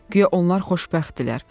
Guya onlar xoşbəxtdirlər.